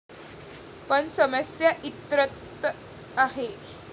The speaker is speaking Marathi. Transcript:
पण समस्या इतरत्र आहे.